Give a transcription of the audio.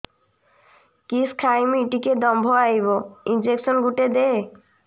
କିସ ଖାଇମି ଟିକେ ଦମ୍ଭ ଆଇବ ଇଞ୍ଜେକସନ ଗୁଟେ ଦେ